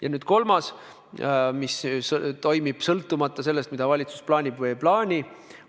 Ja on ka kolmas abinõu, mis toimib sõltumata sellest, mida valitsus plaanib või ei plaani.